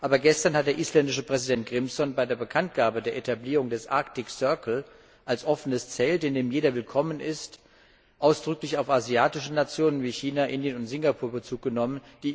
Aber gestern hat der isländische Präsident Grímsson bei der Bekanntgabe der Etablierung des Arctic Circle als offenes Zelt, in dem jeder willkommen ist, ausdrücklich auf asiatische Nationen wie China, Indien und Singapur Bezug genommen.